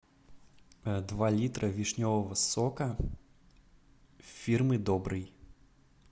два литра вишневого сока фирмы добрый